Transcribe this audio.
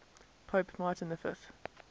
pope martin v